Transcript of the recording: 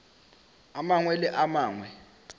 a mangwe le a mangwe